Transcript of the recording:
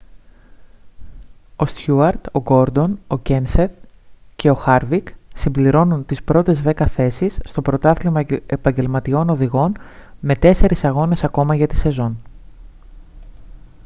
ο στιούαρτ ο γκόρντον ο κένσεθ και ο χάρβικ συμπληρώνουν τις πρώτες δέκα θέσεις στο πρωτάθλημα επαγγελματιών οδηγών με τέσσερις αγώνες ακόμα για τη σεζόν